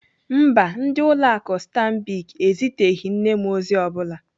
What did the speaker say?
Mba, ndị ụlọ akụ Stanbic eziteghị nne m ozi ọ bụla.